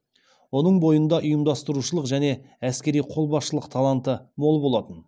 оның бойында ұйымдастырушылық және әскери қолбасшылық таланты мол болатын